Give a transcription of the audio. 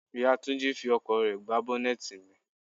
Ìyá Túnjí fí ọkọ̀ rẹ gbá bọ́nẹ́tì mi.